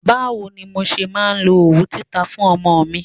Bá wo ni mo ṣe máa lo òwú títa fún ọmọ mi?